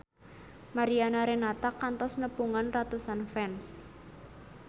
Mariana Renata kantos nepungan ratusan fans